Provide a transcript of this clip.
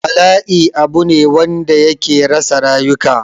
Bala'i abu ne wanda yake rasa rayuka